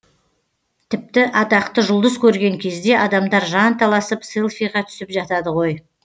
тіпті атақты жұлдыз көрген кезде адамдар жанталасып селфиге түсіп жатады ғой